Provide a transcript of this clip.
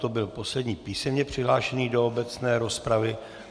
To byl poslední písemně přihlášený do obecné rozpravy.